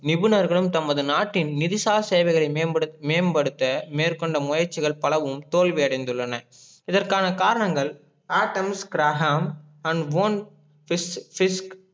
நிபுணர்களும் தமது நாட்டின் நிதிசா சேவைகளை மேம்படுத்த மேற்கொண்ட முயற்சிகள் பலவும் தோல்வி அடைந்துள்ளன இதற்கான காரணங்கள